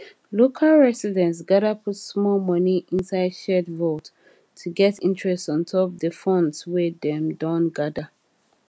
local residents gather put small money inside shared vault to get interest ontop the funds wey dem don gather